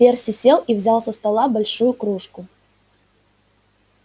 перси сел и взял со стола большую кружку